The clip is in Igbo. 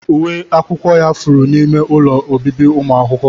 Uwe akwụkwọ ya furu n'ime ụlọ obibi ụmụ akwụkwọ.